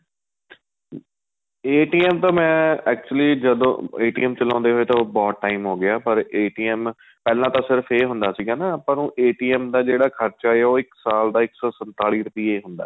ਤਾਂ ਮੈਂ actually ਜਦੋਂ ਚਲਾਉਦੇ ਹੋਏ ਤਾਂ ਬਹੁਤ time ਹੋ ਗਿਆ ਪਰ ਪਹਿਲਾਂ ਤਾਂ ਸਿਰਫ਼ ਏ ਹੁੰਦਾ ਸੀਗਾ ਆਪਾਂ ਨੂੰ ਦਾ ਜਿਹੜਾ ਖਰਚਾ ਏ ਉਹ ਇੱਕ ਸਾਲ ਇੱਕ ਸੋ ਸੰਤਾਲੀ ਰੁਪਏ ਹੁੰਦਾ